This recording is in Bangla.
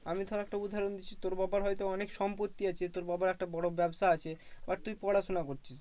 আমি ধর একটা উদাহরণ দিচ্ছি তোর বাবার হয়তো অনেক সম্পত্তি আছে। তোর বাবার একটা বড় ব্যাবসা আছে, বা তুই পড়াশোনা করছিস